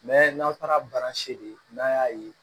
n'aw taara de ye n'an y'a ye